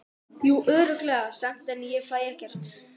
Jú örugglega samt, en fæ ég ekkert?